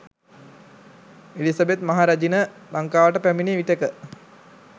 Elizabeth මහරැජින ලංකාවට පැමිණි විටෙක